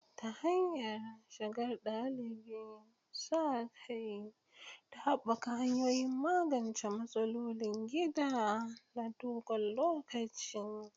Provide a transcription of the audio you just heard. Ta hanyar shigar ɗalibi, sa kai, da haɓaka hanyoyin magance matsalolin gida na dogon lokaci.